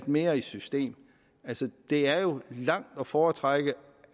mere i system altså det er jo langt at foretrække